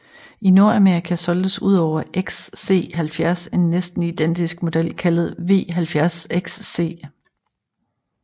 I Nordamerika solgtes udover XC70 en næsten identisk model kaldet V70 XC